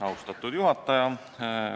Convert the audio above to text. Austatud juhataja!